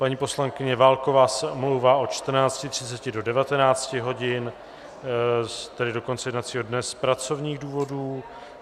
Paní poslankyně Válková se omlouvá od 14.30 do 19 hodin, tedy do konce jednacího dne, z pracovních důvodů.